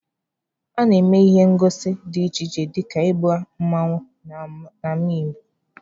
A na-eme ihe ngosi dị iche iche dịka ịgba mmanwụ n'ama obodo.